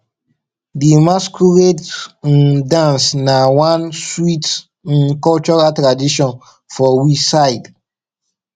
di masquerade um dance na one sweet um cultural tradition for we side